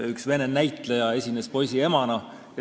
Üks vene näitleja esines poisi emana.